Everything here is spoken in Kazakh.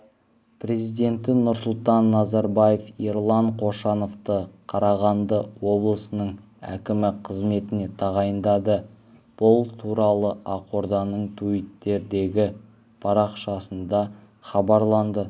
президенті нұрсұлтан назарбаев ерлан қошановты қарағанды облысының әкімі қызметіне тағайындады бұл туралы ақорданың туиттердегі парақшасында хабарланды